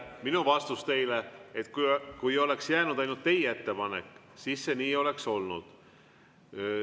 Mu vastus teile: kui oleks jäänud ainult teie ettepanek, siis see oleks nii olnud.